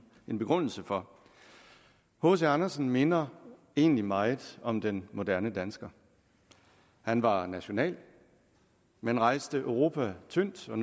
min begrundelse for hc andersen minder egentlig meget om den moderne dansker han var national men rejste europa tyndt og